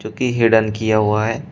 जो कि हिडन किया हुआ है।